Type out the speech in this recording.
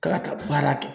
Ka taa baara kɛ